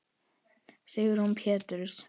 Sigrún Péturs.